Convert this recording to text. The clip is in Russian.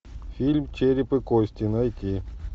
фильм череп и кости найти